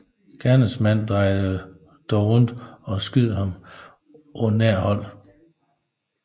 Gerningsmanden drejede dog rundt og skød ham på nært hold